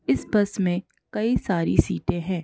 इस बस में कई सारी सीटें हैं।